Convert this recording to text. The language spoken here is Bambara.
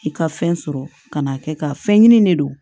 I ka fɛn sɔrɔ ka n'a kɛ ka fɛn ɲini de